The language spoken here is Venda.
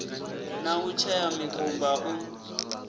na u tshea mikumba u